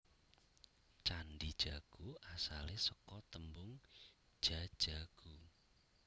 Candhi Jago asale seka tembung Jajaghu